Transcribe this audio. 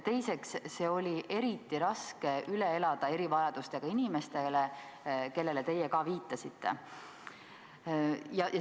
Teiseks oli see eriti raske üle elada erivajadustega inimestele, kellele teie ka viitasite.